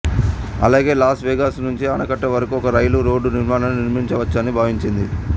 అలాగే Las Vegas నుండి ఆనకట్ట వరకు ఒక రైలు రోడ్ నిర్మాణాన్ని నిర్మించవచ్చని భావించింది